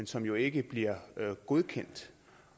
som jo ikke bliver godkendt